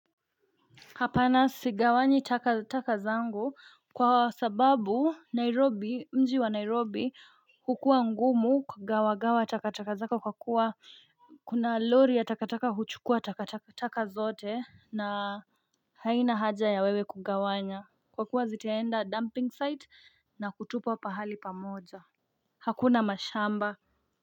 Hapana sigawanyi takataka zangu kwa sababu Nairobi mji wa Nairobi hukua ngumu ku gawa gawa takataka zako kwa kuwa kuna lori ya takataka huchukua takataka zote na haina haja ya wewe kugawanya kwa kuwa ziteenda dumping site na kutupo pahali pamoja Hakuna mashamba.